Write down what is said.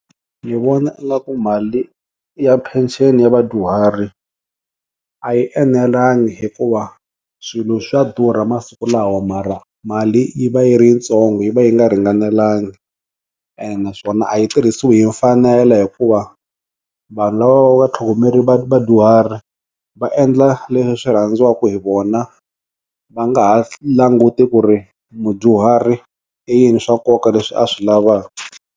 Ndzi vona mali ya pension ya vadyuhari a yi enelangi hikuva swilo swa durha masiku lawa mara mali yi va yi ri ntsongo yi va yi nga ringanelangi ene naswona a yi tirhisiwi hi mfanelo hikuva vanhu lava va va tlhongomere Vadyuhari va endla leswi swi rhandziwaka va nga ha languti ku ri mudyuhari i yini swa nkoka leswi a swi lavaku.